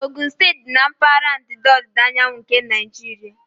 Ogun steeti dị na mpaghara ndịda ọdịda anyanwụ nke Naijiria.